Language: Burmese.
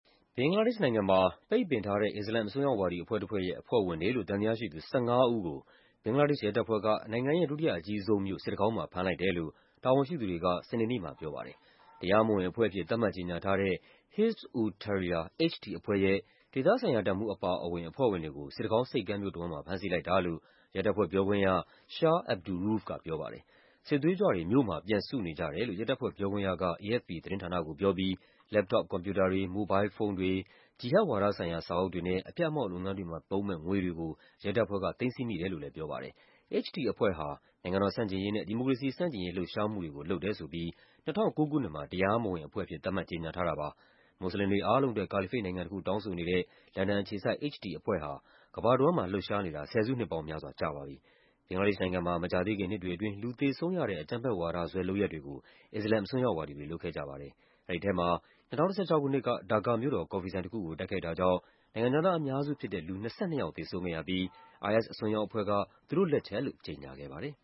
ဘင်္ဂလားဒေ့ရှ်နိုင်ငံမှာ ပိတ်ပင်ထားတဲ့ အစ္စလာမ် အစွန်းရောက်ဝါဒီ အဖွဲ့တဖွဲ့ရဲ့ အဖွဲ့ဝင်တွေလို့ သံသယရှိသူ ၁၅ ဦးကို ဘင်္ဂလားဒေ့ရှ် ရဲတပ်ဖွဲ့က နိုင်ငံရဲ့ ဒုတိယအကြီးဆုံးမြို့ စစ်တကောင်းမှာ ဖမ်းလိုက်တယ်လို့ တာဝန်ရှိသူတွေက စနေနေ့မှာ ပြောပါတယ်။ တရားမဝင်အဖွဲ့အဖြစ် သတ်မှတ်ကြေညာထားတဲ့ Hizb ut-Tahrir (HT) အဖွဲ့ရဲ့ ဒေသဆိုင်ရာတပ်မှူး အပါအဝင် အဖွဲ့ဝင်တွေကို စစ်တကောင်းဆိပ်ကမ်းမြို့ တဝန်းမှာ ဖမ်းဆီးလိုက်တာလို့ ရဲတပ်ဖွဲ့ပြောခွင့်ရ Shah Abdur Rouf က ပြောပါတယ်။ “စစ်သွေးကြွတွေ မြို့မှာ ပြန်စုနေကြတယ်” လို့ ရဲတပ်ဖွဲ့ပြောခွင့်ရက AFP သတင်းဌာနကိုပြောပြီး လက်ပ်တော့ပ်ကွန်ပျူတာတွေ၊ မိုဘိုင်းလ်ဖုန်းတွေ၊ ဂျီဟတ်ဝါဒဆိုင်ရာ စာအုပ်တွေနဲ့ အဖျက်အမှောင့် လုပ်ငန်းတွေမှာ သုံးမယ့် ငွေတွေကို ရဲတပ်ဖွဲ့က သိမ်းဆည်းမိတယ်လို့လည်း ပြောပါတယ်။ HT အဖွဲ့ဟာ နိုင်ငံတော်ဆန့်ကျင်ရေးနဲ့ ဒီမိုကရေစီဆန့်ကျင်ရေး လှုပ်ရှားမှုတွေကို လုပ်တယ်ဆိုပြီး ၂၀၀၉ ခုနှစ်မှာ တရားမဝင်အဖွဲ့အဖြစ် သတ်မှတ် ကြေညာထားတာပါ။ မွတ်စလင်တွေ အားလုံးအတွက် ကာလီဖိတ်နိုင်ငံတခု တောင်းဆိုနေတဲ့ လန်ဒန်အခြေစိုက် HT အဖွဲ့ဟာ ကမ္ဘာတဝန်းမှာ လှုပ်ရှားနေတာ ဆယ်စုနှစ်ပေါင်းများစွာ ကြာပါပြီ။ ဘင်္ဂလားဒေ့ရှ်နိုင်ငံမှာ မကြာသေးခင် နှစ်တွေအတွင်း လူသေဆုံးရတဲ့ အကြမ်းဖက်ဝါဒစွဲ လုပ်ရပ်တွေကို အစ္စလာမ် အစွန်းရောက်ဝါဒီတွေ လုပ်ခဲ့ကြပါတယ်။ အဲဒီထဲမှာ ၂၀၁၆ ခုနှစ်က ဒါကာမြို့တော် ကော်ဖီဆိုင်တခုကို တိုက်ခိုက်တာကြောင့် နိုင်ငံခြားသား အများစုဖြစ်တဲ့ လူ ၂၂ ယောက် သေဆုံးခဲ့ရပြီး IS အစွန်းရောက်အဖွဲ့က သူတို့်လက်ချက်လို့ ကြေညာခဲ့ပါတယ်